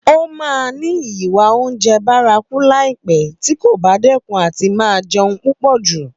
Ó máa ní ìwà oúnjẹ bárakú láìpé tí kò bá dẹ́kun àti máa jẹun púpọ̀ jù.